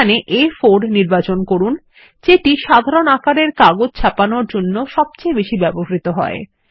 এখানে আ4 নির্বাচন করুন যেটি সাধারণ আকারের কাগজ ছাপানোর জন্য সবচেয়ে বেশী ব্যবহৃত হয়